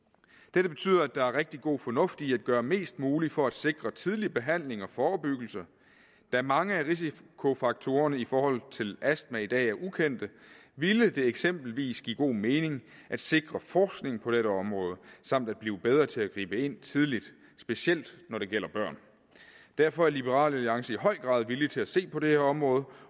dette betyder at der er rigtig god fornuft i at gøre mest muligt for at sikre en tidlig behandling og forebyggelse da mange af risikofaktorerne i forhold til astma i dag er ukendte ville det eksempelvis give god mening at sikre forskning på dette område samt at blive bedre til at gribe ind tidligt specielt når det gælder børn derfor er liberal alliance i høj grad villige til at se på det her område